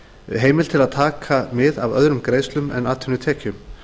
heimild til að taka mið af öðrum greiðslum en atvinnutekjum